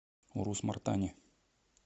урус мартане